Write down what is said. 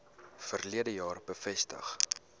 verlede jaar bevestig